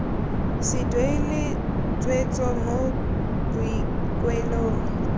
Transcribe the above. se duelwe tshwetso mo boikuelong